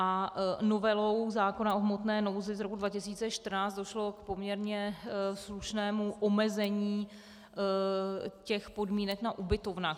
A novelou zákona o hmotné nouzi z roku 2014 došlo k poměrně slušnému omezení těch podmínek na ubytovnách.